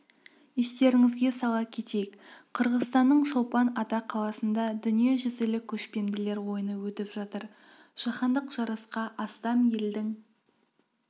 естеріңізге сала кетейік қырғызстанның чолпан ата қаласында дүниежүзілік көшпенділер ойыны өтіп жатыр жаһандық жарысқа астам елдің